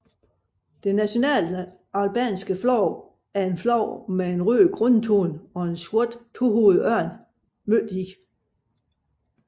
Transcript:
Det nationale albanske flag er et flag med en rød grundfarve og en sort tohovedet ørn i midten